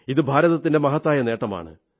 ഇത് ഭാരതത്തിന്റെ മഹത്തായ നേട്ടമാണ്